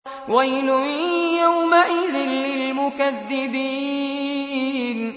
وَيْلٌ يَوْمَئِذٍ لِّلْمُكَذِّبِينَ